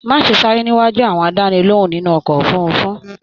Má ṣe sáré níwájú àwọn àdánilohùn nínú ọkọ òfurùnfu!